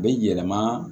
A bɛ yɛlɛma